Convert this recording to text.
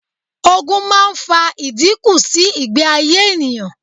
Ogun máa ń fa ìdínkù sí ìgbé ayé ènìyàn.